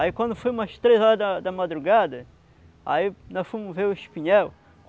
Aí quando foi umas três horas da da madrugada, aí nós fomos ver o espinhel.